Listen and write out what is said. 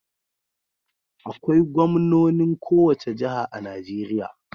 Akwai gwamnonin kowace jiha a Najeriya.